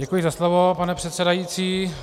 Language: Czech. Děkuji za slovo, pane předsedající.